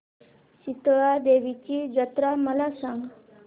शितळा देवीची जत्रा मला सांग